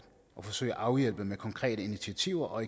og forsøge at afhjælpe med konkrete initiativer og